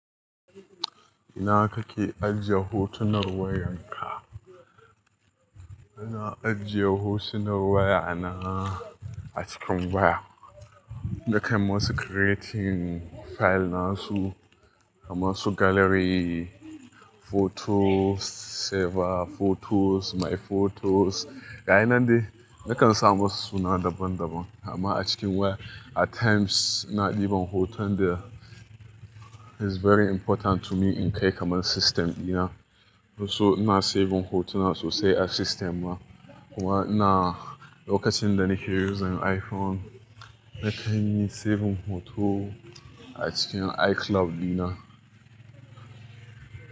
Ina kake ajiye hotunan wayanka? Ina ajiye hotunan wayana a cikin waya. Nakan masu creating file nasu, kamar su gallery, photos, saver photos, my photos. Ga yi nan dai, nakan samu suna daban-daban, amma a cikin waya at times ina ɗiban hoton da is very important to me in kai kaman system dina. So ina saving hotunan so sai a system ma. Kuma ina, lokacin da nake using iPhone, nakan yi save hoton a cikin iCloud dina.